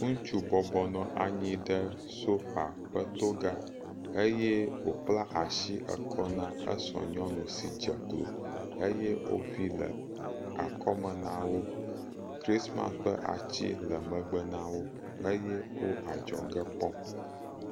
Ŋutsu bɔbɔnɔ anyi ɖe sofa ƒe to ga eye wokpla asi ekɔ na esra nyɔnu dze klo eye woƒi le akɔme nawo eye krisimasi ƒe ati le akɔme nawo.